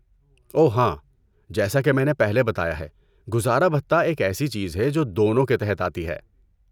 اوہ ہاں، جیسا کہ میں نے پہلے بتایا ہے، گزارا بھتہ ایک ایسی چیز ہے جو دونوں کے تحت آتی ہے۔